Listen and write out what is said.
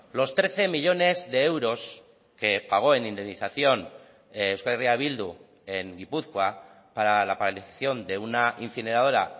los trece millónes de euros que pagó en indemnización euskal herria bildu en gipuzkoa para la paralización de una incineradora